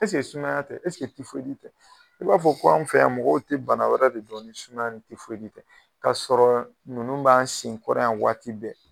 sumaya tɛ tɛ? I b'a fɔ ko anw fɛ yan mɔgɔw te bana wɛrɛ de don ni sumaya ni tɛ kasɔrɔ nunnu b'an sen kɔrɔ yan waati bɛɛ.